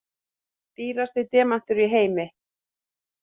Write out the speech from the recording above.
Dýrasti demantur í heimi